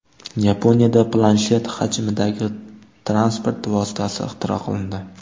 Yaponiyada planshet hajmidagi transport vositasi ixtiro qilindi .